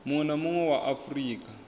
munwe na munwe wa afurika